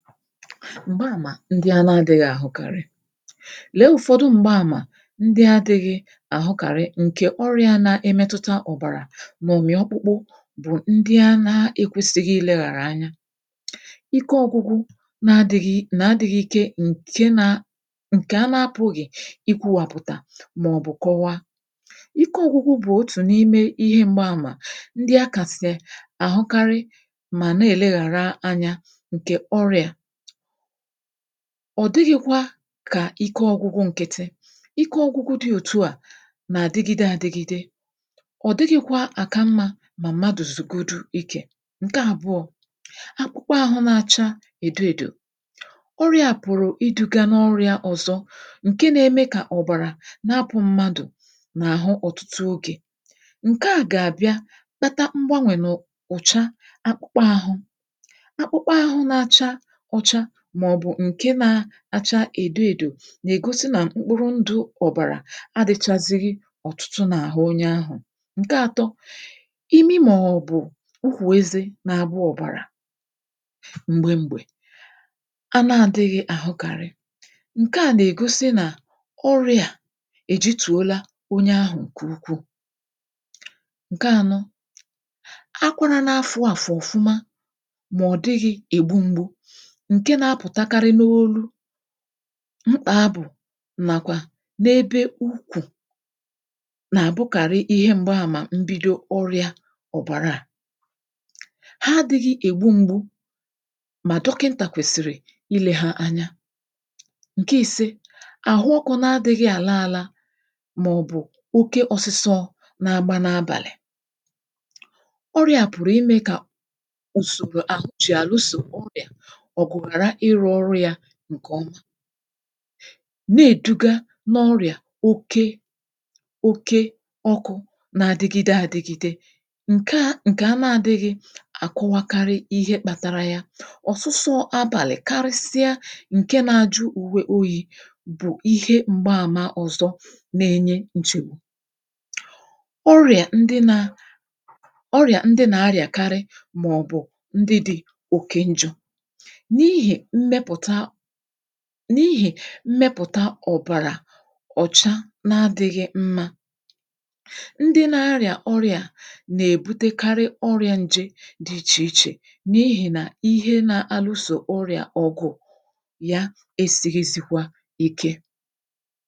Mgbaàmà ndị a na-adịghị àhụkarị. Lee ụ̀fọdụ m̀gbaàmà ndị adịghị àhụkarị ǹkè ọrịa na-emetuta ọ̀bàrà nà ọ̀mị̀ọkpụkpụ bụ̀ ndị a na-ekwėsighi ilėghàrà anya; ike ọgwụgwụ na-adịghị́ nà adịghị̇ ike ǹke na ǹkè anapụ̀ghị ikwuwàpụ̀tà màọ̀bụ̀ kọwa. Ike ọgwụgwụ bụ̀ otù n’ime ihe m̀gbaàmà ndị akàsị àhụkarị mà na-èleghàra anyȧ nke ọrịa. Ọ dịghịkwa kà ike ọgwụgwụ nkịtị. Ike ọgwụgwụ dị òtu à nà-àdịgịde àdịgịde. Ọ dịghịkwa àka mmȧ mà mmadụ̀ zụ̀godu ikè. Nke àbụọ̇: akpụkpọ ahụ na-acha edo edo. Ọrịȧ pụ̀rụ̀ iduga n’ọrịȧ ọ̀zọ, ǹke na-eme kà ọ̀bàrà na-apụ̇ mmadụ̀ n’àhụ ọ̀tụtụ ogė. Nke à gà-àbịa kpata mgbanwè n’ụ̀cha akpụkpọ àhụ. Akpụkpọ ahụ n’acha ụcha ma ọ bụ nke n’acha èdò èdò nà-ègosi nà mkpụrụ ndụ̇ ọ̀bàrà adịchazịghị ọ̀tụtụ nà àhụ onye ahụ̀. Nke atọ: imi màọbụ̀ ukwù eze n’agba ọ̀bàrà m̀gbe m̀gbè anà adịghị àhụkàrị. Nke à nà-ègosi nà ọrịà a èjitùola onye ahụ̀ ǹkè ukwuù. Nke ȧnọ: akwara n’afụ àfụ ọ̀fụma mà ọ̀ dịghị ègbu ṁgbu nke n’apụtakarị n’olú, mkpa abụ̀ nàkwà n’ebe ukwù nà-àbụkàrị ihe m̀gbaàmà mbido ọrịa ọ̀bàra à. Ha adịghị ègbu ṁgbu̇, mà dọkịntà kwèsìrì ile ha anya. Nke i̇se: àhụ ọkụ̇ na-adịghị àla ȧla màọ̀bụ̀ oke ọsịsọ n’agba n’abàlị̀. Ọrịa a pụ̀rụ̀ imė kà ùsòrò àhụ ji alụso ọrịa ọgụ hara ịrụ ọrụ ya nkeọma neduga n’ọrịa oke oke ọkụ na-adigide adigide nke nke a n’adịghị akọwakarị ihe kpatara ya. Ọ̀sụsọ abàlị̀ karịsịa ǹke na-ajụ uwe oyi̇ bụ̀ ihe mgbaàma ọ̀zọ na-enye nsogbu. Ọrị̀à ndị nȧ ọrị̀à ndị nà-arịàkarị màọ̀bụ̀ ndị dị̇ òkè njọ̇. N’ihì mmepụ̀ta n’ihì mmepụ̀ta ọ̀bàrà ọ̀cha na-adịghị mmȧ, ndị na-arịà ọrị̀à a nà-èbutekarị ọrị̇ȧ ǹje dị ichè ichè n’ihì nà ihe na-alụsò ọrị̀à ọgụ̀ ya esighịzikwa ike.